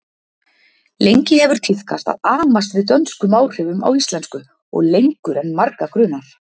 Lengi hefur tíðkast að amast við dönskum áhrifum á íslensku og lengur en marga grunar.